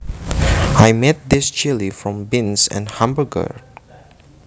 I made this chili from beans and hamburger